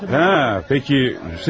Hə, bəs siz kimsiniz?